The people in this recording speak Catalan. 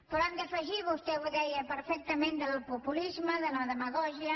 però hem de fugir vostè ho deia perfectament del populisme de la demagògia